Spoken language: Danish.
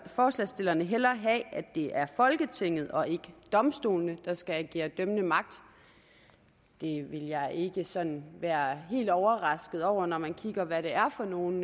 forslagsstillerne hellere have at det er folketinget og ikke domstolene der skal agere dømmende magt det vil jeg ikke sådan være helt overrasket over når man kigger på hvad det er for nogle